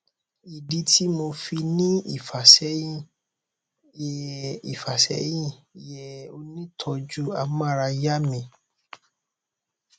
ìdí tí mo fi ń ní ìfàsẹyìn yé ìfàsẹyìn yé onítọọjú amárayá mi